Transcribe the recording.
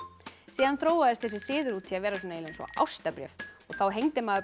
síðan þróaðist þessi siður út í að vera eins og ástarbréf þá hengdi maður